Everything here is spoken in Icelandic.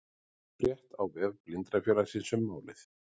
Frétt á vef Blindrafélagsins um málið